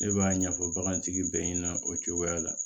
Ne b'a ɲɛfɔ bagantigi bɛɛ ɲɛna o cogoya la